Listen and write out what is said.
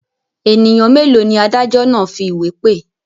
Ènìyàn mélòó ni adájọ́ náà fi ìwé pè?